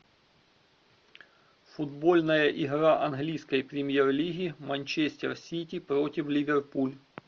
футбольная игра английской премьер лиги манчестер сити против ливерпуль